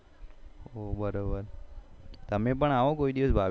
બરોબર તમે પણ આવો કોઈ દિવસ આવો ભાભી ને લઈને